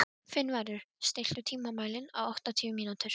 Finnvarður, stilltu tímamælinn á áttatíu mínútur.